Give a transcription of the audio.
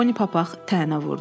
Poni papaq tənə vurdu.